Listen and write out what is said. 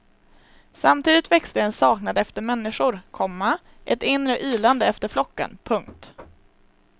Samtidigt växte en saknad efter människor, komma ett inre ylande efter flocken. punkt